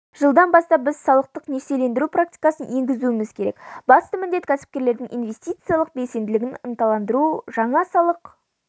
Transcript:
жылдан бастап біз салықтық несиелендіру практикасын енгізуіміз керек басты міндет кәсіпкерлердің инвестициялық белсенділігін ынталандыру жаңа салық